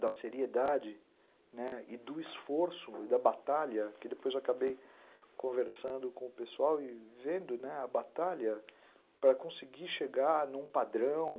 da seriedade e do esforço, da batalha, que depois acabei conversando com o pessoal e vendo a batalha para conseguir chegar a um padrão.